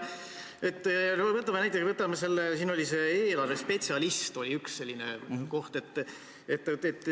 Võtame näiteks eelarvespetsialisti, seal oli üks selline koht.